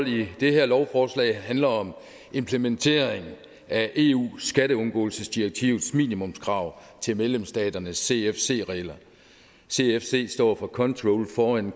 i det her lovforslag handler om implementering af eus skatteundgåelsesdirektivs minimumskrav til medlemsstaternes cfc regler cfc står for controlled foreign